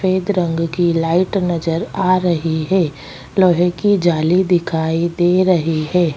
सफेद रंग की लाइट नज़र आ रही है लोहे की जाली दिखाई दे रही है।